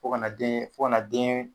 Fo kana deen fo kana dɛɛn